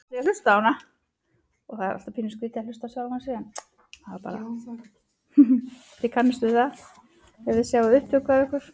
Frekari fróðleikur á Vísindavefnum: Ef maður hlypi stanslaust í sólarhring myndi þá líða yfir hann?